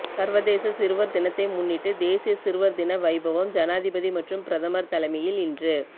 சர்வதேச சிறுவர் தினத்தை முன்னிட்டு தேசிய சிறுவர் தின வைபவம் ஜனாதிபதி மற்றும் பிரதமர் தலைமையில் இன்று